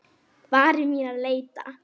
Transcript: Varir mínar leita.